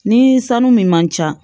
Ni sanu min man ca